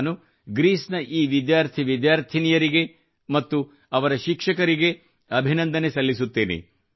ನಾನು ಗ್ರೀಸ್ ನ ಈ ವಿದ್ಯಾರ್ಥಿ ವಿದ್ಯಾರ್ಥಿನಿಯರಿಗೆ ಮತ್ತು ಅವರ ಶಿಕ್ಷಕರಿಗೆ ಅಭಿನಂದನೆ ಸಲ್ಲಿಸುತ್ತೇನೆ